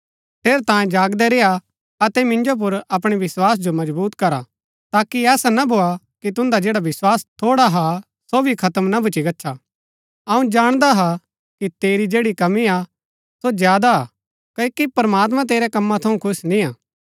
ठेरैतांये जागदै रेय्आ अतै मिन्जो पुर अपणै विस्वास जो मजबुत करा ताकि ऐसा ना भोआ कि तुन्दा जैड़ा विस्वास थोड़ा हा सो भी खत्म ना भूच्ची गच्छा अऊँ जाणदा हा कि तेरी जैड़ी कमी हा सो ज्यादा हा क्ओकि प्रमात्मां तेरै कमा थऊँ खुश निय्आ